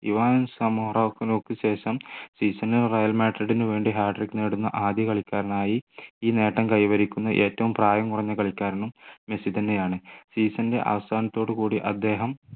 Ivan വിനു ശേഷം season ൽ റയൽ മാഡ്രിഡിന് വേണ്ടി ഹാട്രിക് നേടുന്ന ആദ്യ കളിക്കാരനായി ഈ നേട്ടം കൈവരിക്കുന്ന ഏറ്റവും പ്രായം കുറഞ്ഞ കളിക്കാരനും മെസ്സി തന്നെയാണ് season ൻ്റെ അവസാനത്തോട് കൂടി അദ്ദേഹം